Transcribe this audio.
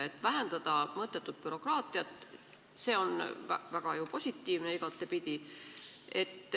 Et vähendada mõttetut bürokraatiat – see on ju igapidi väga positiivne.